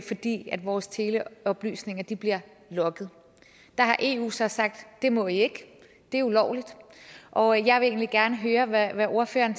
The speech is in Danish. fordi vores teleoplysninger bliver logget der har eu så sagt det må i ikke det er ulovligt og jeg vil egentlig gerne høre hvad ordføreren